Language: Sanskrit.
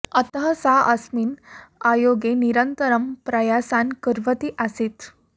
अतः सा अस्मिन् आयोगे निरन्तरं प्रयासान् कुर्वती आसीत्